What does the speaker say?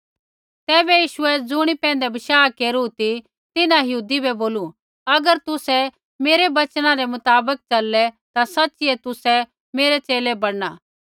तैबै यीशुऐ ज़ुणियै पैंधै बशाह केरू ती तिन्हां यहूदी बै बोलू अगर तुसै मेरै बचना रै मुताबक चललै ता सच़ीऐ तुसै मेरै च़ेले बैणना